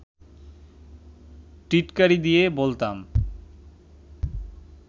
টিটকারি দিয়ে বলতাম